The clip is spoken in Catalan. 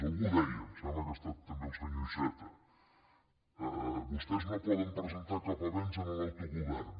algú ho deia em sembla que ha estat també el senyor iceta vostès no poden presentar cap avenç en l’autogovern